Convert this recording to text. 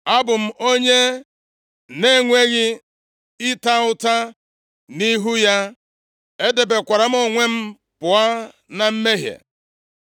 Abụ m onye na-enweghị ịta ụta nʼihu ya, edebekwara m onwe m pụọ na mmehie.